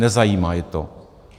Nezajímá je to.